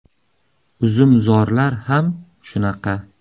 Uzumzorlar ham shunaqa.